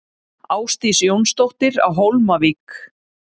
Ásdís Jónsdóttir á Hólmavík